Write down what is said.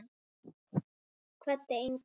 Kvaddi engan.